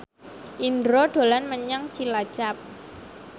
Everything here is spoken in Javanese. Indro dolan menyang Cilacap